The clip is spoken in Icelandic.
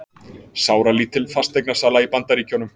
Sáralítil fasteignasala í Bandaríkjunum